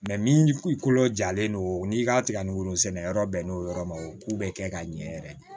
min kolo jalen don u ni ka tigɛ ni woro sɛnɛ yɔrɔ bɛnnen don yɔrɔ ma o k'u bɛɛ kɛ ka ɲɛ yɛrɛ